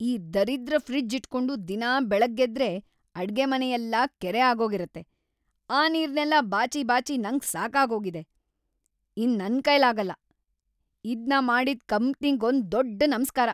ಈ ದರಿದ್ರ ಫ್ರಿಜ್ಜ್‌ ಇಟ್ಕೊಂಡು ದಿನಾ ಬೆಳ್ಗಾಗೆದ್ರೆ ಅಡ್ಗೆಮನೆಯೆಲ್ಲ ಕೆರೆ ಆಗೋಗಿರತ್ತೆ, ಆ ನೀರ್ನೆಲ್ಲ ಬಾಚಿ ಬಾಚಿ ನಂಗ್ ಸಾಕಾಗೋಗಿದೆ, ಇನ್ನ್‌ ನನ್ಕೈಲಾಗಲ್ಲ. ಇದ್ನ ಮಾಡಿದ್‌ ಕಂಪ್ನಿಗೊಂದ್ ದೊಡ್‌ ನಮ್ಸ್ಕಾರ! ‌